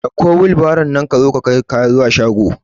Ɗauko wilbairon nan ka zo ka kai kaya zuwa shago